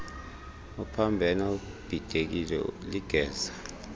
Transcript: uphambene ubhidekile ligeza